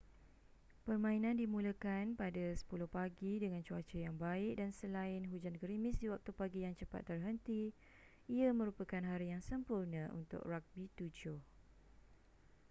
permainan dimulakan pada 10:00 pagi dengan cuaca yang baik dan selain hujan gerimis di waktu pagi yang cepat terhenti ia merupakan hari yang sempurna untuk ragbi 7